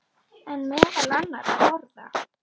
En meðal annarra orða.